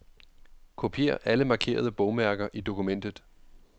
Kopier alle markerede bogmærker i dokumentet.